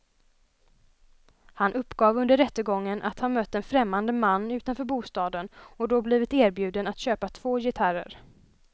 Han uppgav under rättegången att han mött en främmande man utanför bostaden och då blivit erbjuden att köpa två gitarrer.